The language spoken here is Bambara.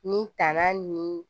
Ni tanan ni